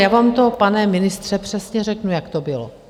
Já vám to, pane ministře, přesně řeknu, jak to bylo.